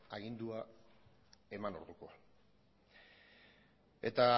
agindua eman orduko eta